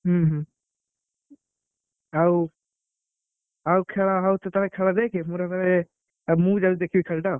ହୁଁ ହୁଁ ଆଉ ଆଉ ଖେଳ ହଉଛି ତାହେଲେ ଖେଳ ଦେଖେ ମୋର ଏବେ ଆଉ ମୁଁ ବି ଯାଉଛି ଦେଖିବି ଖେଳଟା।